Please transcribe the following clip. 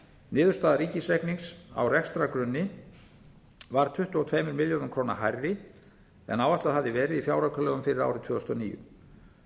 niðurstaða ríkisreiknings á rekstrargrunni varð tuttugu og tveimur milljörðum króna hærri en áætlað hafði verið í fjáraukalögum fyrir árið tvö þúsund og níu